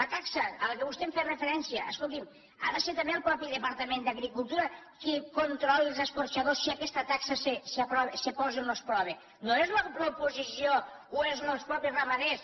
la taxa a què vostè em feia referència escolti’m ha de ser també el mateix departament d’agricultura qui controli els escorxadors si aquesta taxa se posa o no es posa no és l’oposició o són els mateixos ramaders